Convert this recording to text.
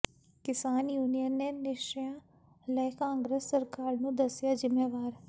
ਕਿਸਾਨ ਯੂਨੀਅਨ ਨੇ ਨਸ਼ਿਆਂ ਲਈ ਕਾਂਗਰਸ ਸਰਕਾਰ ਨੂੰ ਦੱਸਿਆ ਜ਼ਿੰਮੇਵਾਰ